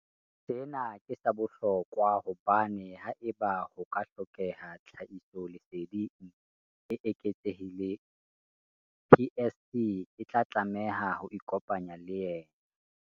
Sena ke sa bohlokwa hobane haeba ho ka ha hlokeha tlhahisoleseding e eketsehileng, PSC e tla tlameha ho ikopanya le yena.